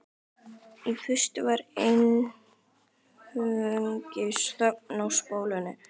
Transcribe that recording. Í fyrstu var einungis þögn á spólunni.